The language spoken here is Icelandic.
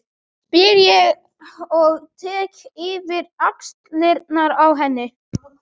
spyr ég og tek yfir axlirnar á henni.